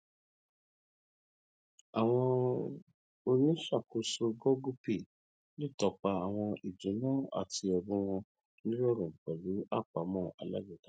àwọn oníṣàkóso google pay lè tọpa àwọn ìduná àti ẹbùn wọn nirọrùn pẹlú àpamọ alágbèéká